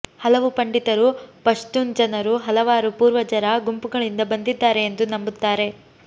ಹಲವು ಪಂಡಿತರು ಪಶ್ತೂನ್ ಜನರು ಹಲವಾರು ಪೂರ್ವಜರ ಗುಂಪುಗಳಿಂದ ಬಂದಿದ್ದಾರೆ ಎಂದು ನಂಬುತ್ತಾರೆ